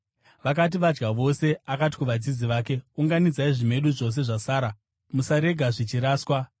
Vakati vadya vose, akati kuvadzidzi vake, “Unganidzai zvimedu zvose zvasara. Musarega zvichiraswa.”